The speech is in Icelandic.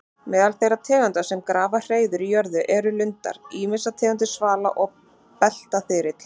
Meðal þeirra tegunda sem grafa hreiður í jörðu eru lundar, ýmsar tegundir svala og beltaþyrill.